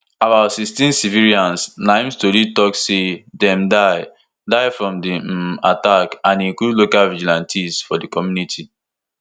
about sixteen civilians na im tori tok say dem die die from di um attack and e include local vigilantes for di community